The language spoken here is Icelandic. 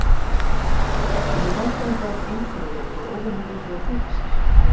Henni fannst hann eitthvað einkennilegur og óvenju mikið að flýta sér.